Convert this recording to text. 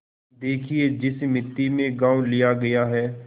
देखिए जिस मिती में गॉँव लिया गया है